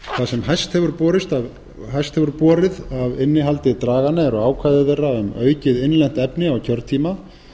sem hæst hefur borið af innihaldi draganna eru ákvæði þeirra um aukið innlent efni á kjörtíma